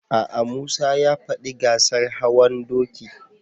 A'a, Musa ya faɗi gasar hawan doki.